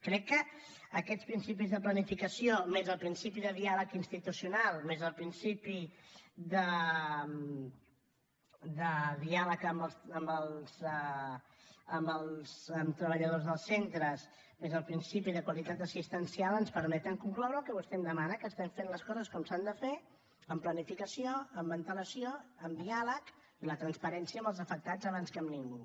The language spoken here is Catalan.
crec que aquests principis de planificació més el principi de diàleg institucional més el principi de diàleg amb treballadors dels centres més el principi de qualitat assistencial ens permeten concloure el que vostè em demana que estem fent les coses com s’han de fer amb planificació amb antelació amb diàleg la transparència amb els afectats abans que amb ningú